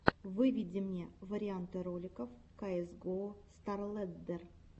выведи мне варианты роликов каэс гоу старлэддер